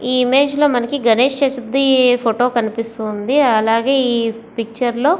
ఈ ఇమేజ్ లో మనకి గణేష్ చతురుత్తి ఫోటో కనిపిస్తూ ఉంది. అలాగే ఈ పిక్చర్ లో --